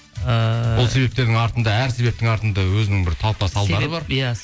ыыы ол себептердің артында әр себептің артында өзінің бір талпа салдары бар иә